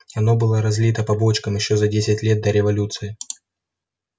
оно было разлито по бочкам ещё за десять лет до революции